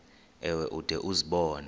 ewe ude uzibone